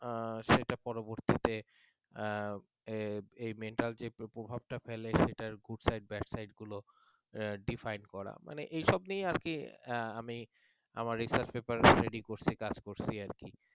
আহ সেটা পরবর্তীতে আহ এই mental যে প্রভাবটা ফেলে সেটার good side bad side গুলো define করা মানে এসব নিয়ে আহ আর কি আমি আমার research paper ready করছি কাজ করছে